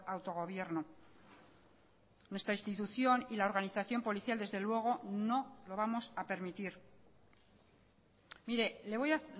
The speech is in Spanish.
autogobierno nuestra institución y la organización policial desde luego no lo vamos a permitir mire le voy a